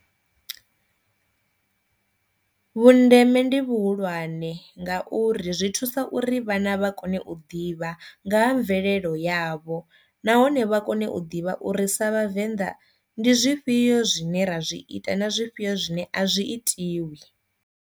Vhundeme ndi vhuhulwane ngauri zwi thusa uri vhana vha kone u ḓivha nga ha mvelelo yavho nahone vha kone u ḓivha uri sa vhavenḓa ndi zwifhio zwine ra zwi ita na zwifhio zwine a zwi itiwi.